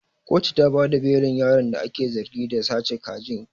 Kotu ta bada belin yaron da ake zargi da sace kaji.